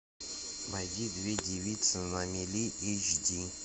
найди две девицы на мели эйч ди